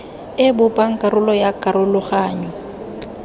e bopang karolo ya karologanyo